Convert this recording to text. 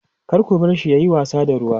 kar ku barshi yayi wasa da ruwa